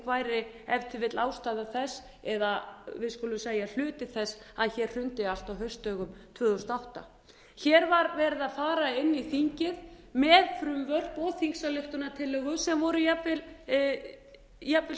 væri ef til vill ástæða þess eða við skulum segja hluti þess að hér hrundi allt á haustdögum tvö þúsund og átta hér var verið að fara inn í þingið með frumvörp og þingsályktunartillögu sem áður jafnvel